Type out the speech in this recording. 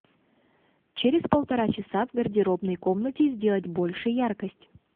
через полтора часа в гардеробной комнате сделать больше яркость